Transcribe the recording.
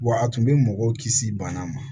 Wa a tun bɛ mɔgɔw kisi bana ma